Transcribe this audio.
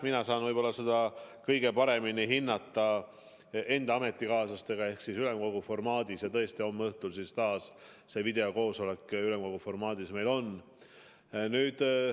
Mina saan seda kõige paremini hinnata enda ametikaaslastega ehk ülemkogu formaadis, ja tõesti, homme õhtul see videokoosolek ülemkogu formaadis meil taas toimub.